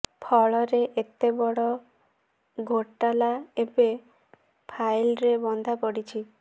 ଫଳରେ ଏତେ ବଡ଼ ଘୋଟାଲା ଏବେ ଫାଇଲ୍ରେ ବନ୍ଧା ପଡ଼ିଛି